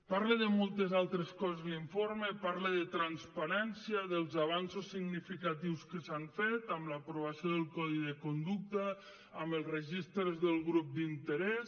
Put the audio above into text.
parla de moltes altres coses l’informe parla de transparència dels avenços significatius que s’han fet amb l’aprovació del codi de conducta amb els registres dels grups d’interès